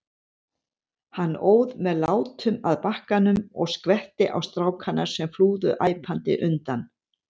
Hann óð með látum að bakkanum og skvetti á strákana, sem flúðu æpandi undan.